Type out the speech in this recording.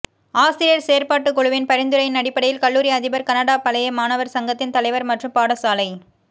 ஆசிரியர் செயற்பாட்டுக்குழுவின் பரிந்துரையின் அடிப்படையில் கல்லூரி அதிபர் கனடாப் பழைய மாணவர் சங்கத்தின் தலைவர் மற்றும் பாடசாலை